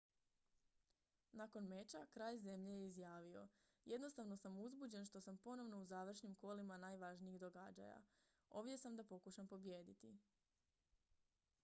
"nakon meča kralj zemlje je izjavio: "jednostavno sam uzbuđen što sam ponovno u završnim kolima najvažnijih događaja. ovdje sam da pokušam pobijediti.""